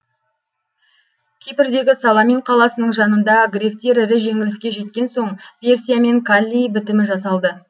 кипрдегі саламин қаласының жанында гректер ірі жеңіліске жеткен соң персиямен каллий бітімі жасалды